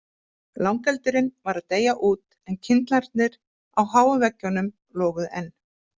Langeldurinn var að deyja út en kyndlarnir á háum veggjunum loguðu enn.